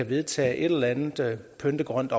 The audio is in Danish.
vedtager et eller andet pyntegrønt